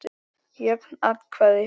Jöfn atkvæði